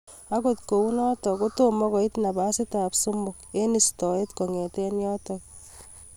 Agot kounotok ko toma koit napasit ab somok eng istoet kong'ete yotok.